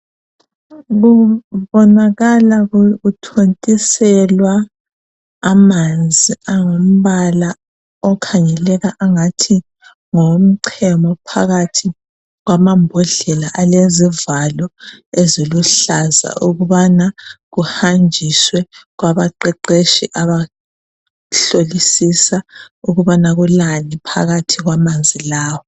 Kubonakala kuthontiselwa amanzi angumbala okhangeleka angathi ngowomchemo phakathi kwamambodlela alezivalo eziluhlaza ukubana kuhanjiswe kwabaqeqetshi abahlolisisa ukubana kulani phakathi kwamanzi lawa.